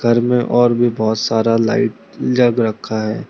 घर में और भी बहोत सारा लाइट लग रखा है।